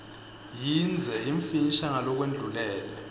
yindze yimfisha ngalokwendlulele